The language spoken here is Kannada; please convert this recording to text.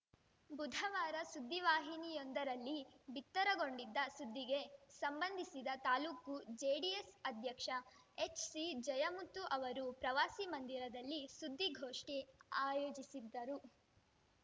ಬುಧವಾರ ಸುದ್ದಿವಾಹಿನಿಯೊಂದರಲ್ಲಿ ಬಿತ್ತರಗೊಂಡಿದ್ದ ಸುದ್ದಿಗೆ ಸಂಬಂಧಿಸಿದ ತಾಲೂಕು ಜೆಡಿಎಸ್‌ ಅಧ್ಯಕ್ಷ ಹೆಚ್‌ಸಿಜಯಮುತ್ತು ಅವರು ಪ್ರವಾಸಿ ಮಂದಿರದಲ್ಲಿ ಸುದ್ದಿಗೋಷ್ಠಿ ಆಯೋಜಿಸಿದ್ದರು